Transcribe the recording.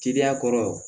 Teriya kɔrɔ